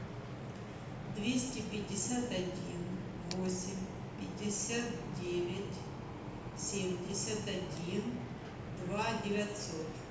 двести пятьдесят один восемь пятьдесят девять семьдесят один два девятьсот